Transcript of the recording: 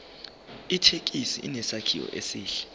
ithekisi inesakhiwo esihle